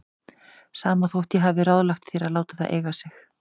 Sama þótt ég hafi ráðlagt þér að láta það eiga sig.